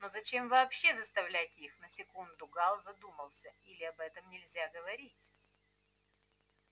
но зачем вообще заставлять их на секунду гаал задумался или об этом нельзя говорить